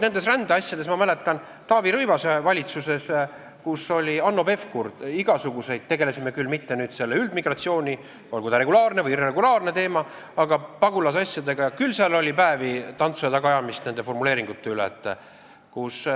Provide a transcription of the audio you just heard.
Ja ma mäletan, et Taavi Rõivase valitsuses, kus oli Hanno Pevkur ja igasuguseid tegelasi, me küll mitte selle üldmigratsiooni teemal, olgu ta regulaarne või irregulaarne, aga pagulasasjadega tegelesime ja küll seal oli tantsu ja tagaajamist nende formuleeringute üle.